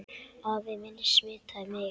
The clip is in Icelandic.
Afi minn smitaði mig.